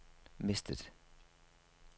mistet